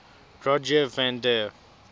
rogier van der